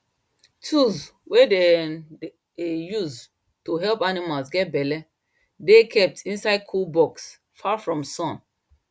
tools wey dem dey use to help animals get belle dey kept inside cool box far from sun